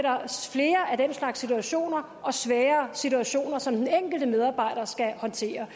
flere af den slags situationer og svære situationer som den enkelte medarbejder skal håndtere